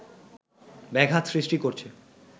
ব্যাঘাত সৃষ্টি করছে